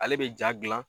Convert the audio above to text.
Ale bɛ ja gilan